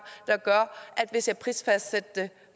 der gør at hvis jeg prisfastsatte det